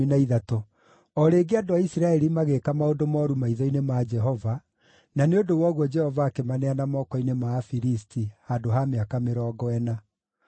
O rĩngĩ andũ a Isiraeli magĩĩka maũndũ mooru maitho-inĩ ma Jehova, na nĩ ũndũ wa ũguo Jehova akĩmaneana moko-inĩ ma Afilisti handũ ha mĩaka mĩrongo ĩna.